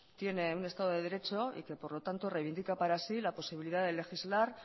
tiene un estado de derecho y que por lo tanto reivindica para sí la posibilidad de legislar